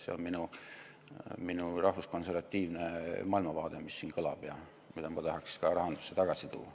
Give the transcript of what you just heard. See on minu rahvuskonservatiivne maailmavaade, mis siin praegu kõlab ja mida ma tahaks ka rahandusse tagasi tuua.